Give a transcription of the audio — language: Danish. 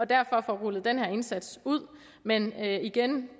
derfor får rullet denne indsats ud men igen